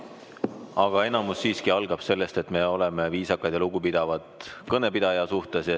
Aga põhiline siiski algab sellest, et me oleme viisakad ja lugupidavad kõnepidaja suhtes.